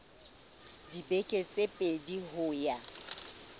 dibeke tse pedi ho ya